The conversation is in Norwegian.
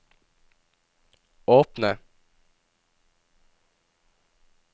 åpne